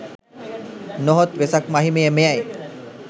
නොහොත් වෙසක් මහිමය මෙයයි.